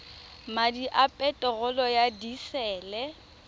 madi a peterolo ya disele